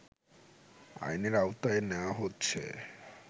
আইনের আওতায় নেওয়া হচ্ছে